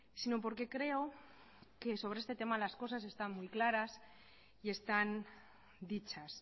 sino porque creo que sobre este tema las cosas están muy claras y están dichas